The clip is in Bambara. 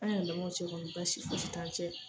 An yɛlɛmɔw cɛ kɔni baasi fosi t'an cɛ